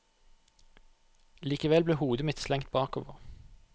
Likevel ble hodet mitt slengt bakover.